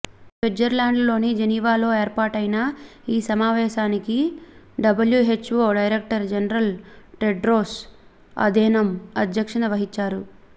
స్విట్జర్లాండ్లోని జెనీవాలో ఏర్పాటైన ఈ సమావేశానికి WHO director general Tedros Adhanom అధ్యక్షత వహించారు